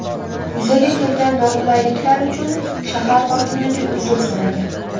Yuzaga kelgan noqulayliklar uchun shahar hokimligi uzr so‘ragan.